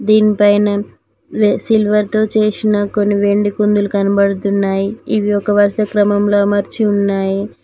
దీనిపైనే సిల్వర్తో చేసిన కొన్ని వెండి కుందులు కనబడుతున్నాయి ఇవి ఒక వరుస క్రమంలో అమర్చి ఉన్నాయి.